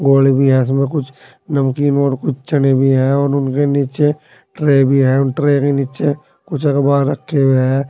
गोल भी है इसमें कुछ नमकीन और कुछ चने भी है और उनके नीचे ट्रे भी है उन ट्रे के नीचे कुछ अखबार रखे हुए हैं।